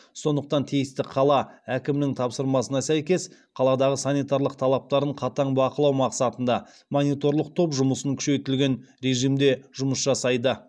сондықтан тиісті қала әкімінің тапсырмасына сәйкес қаладағы санитарлық талаптарын қатаң бақылау мақсатында мониторлық топ жұмысын күшейтілген режимде жұмыс жасайды